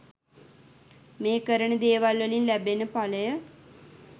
මේ කරන දේවල් වලින් ලැබෙන පලය